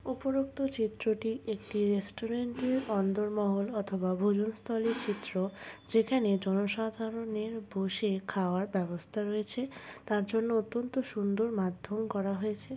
উপরোক্ত চিত্রটি একটি রেস্টুরেন্ট -র অন্দরমহল অথবা ভোজন স্থলের চিত্র যেখানে জনসাধারণের বসে খাওয়ার ব্যবস্থা রয়েছে তার জন্য অত্যন্ত সুন্দর মাধ্যম করা হয়েছে।